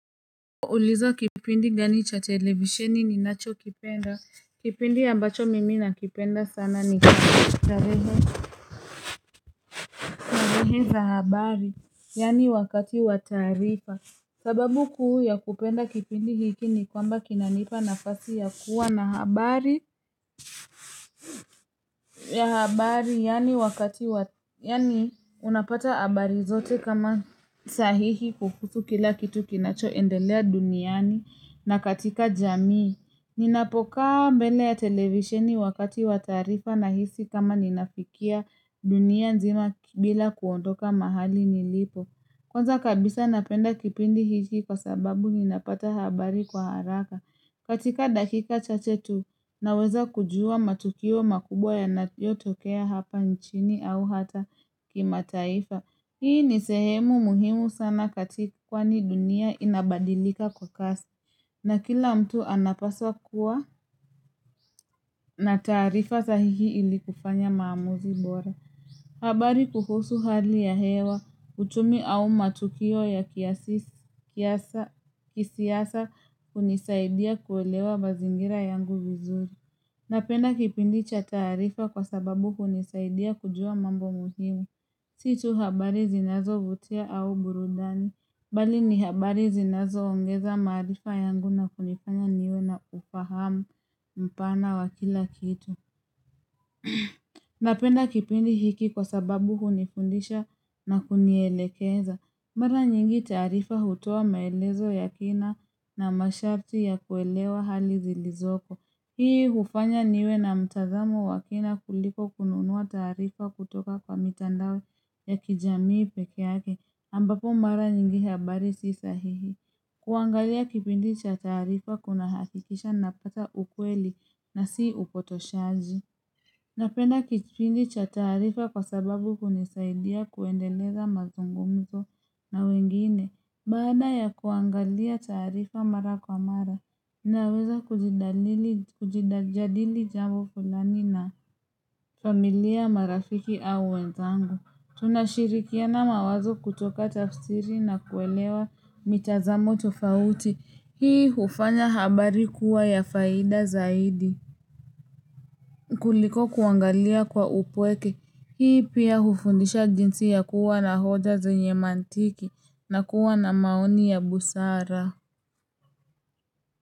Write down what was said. Ulizo kipindi gani cha televisheni ninacho kipenda. Kipindi ambacho mimi na kipenda sana ni kipindi cha reggae za habari. Yaani wakati wataarifa. Sababu kuu ya kupenda kipindi hiki ni kwamba kinanipa nafasi ya kuwa na habari ya habari. Yaani unapata habari zote kama sahihi kuhusu kila kitu kinacho endelea duniani na katika jamii. Ninapokaa mbele ya televisioni wakati wataarifa nahisi kama ninafikia dunia nzima bila kuondoka mahali nilipo Kwanza kabisa napenda kipindi hiki kwa sababu ninapata habari kwa haraka katika dakika chache tu naweza kujua matukio makubwa yanayo tokea hapa nchini au hata kimataifa, Hii nisehemu muhimu sana katika kwani dunia inabadilika kwa kasi na kila mtu anapaswa kuwa na tarifa sahihi ilikufanya maamuzi bora. Habari kuhusu hali ya hewa, uchumi au matukio ya kisiasa hunisaidia kuelewa mazingira yangu vizuri. Napenda kipindi cha taarifa kwa sababu hunisaidia kujua mambo muhimu. Si tu habari zinazovutia au burudani. Bali ni habari zinazo ungeza marifa yangu na kunifanya niwe na ufahamu mpana wa kila kitu Napenda kipindi hiki kwa sababu hunifundisha na kunielekeza mara nyingi taarifa hutoa maelezo ya kina na masharti ya kuelewa hali zilizoko Hii hufanya niwe na mtazamo wa kina kuliko kununua tarifa kutoka kwa mitandao ya kijamii pekeyake ambapo mara nyingi habari si sahihi. Kuangalia kipindi cha tarifa kuna hakikisha napata ukweli na si upotoshaji. Napenda kipindi cha tarifa kwa sababu hunisaidia kuendeleza mazungumzo na wengine. Baada ya kuangalia taarifa mara kwa mara, naweza kujadali jambo fulani na familia marafiki au wenzangu. Tunashirikia na mawazo kutoka tafsiri na kuelewa mitazamo tofauti hii hufanya habari kuwa ya faida zaidi kuliko kuangalia kwa upweke hii pia hufundisha jinsi ya kuwa na hoja zenye mantiki na kuwa na maoni ya busara.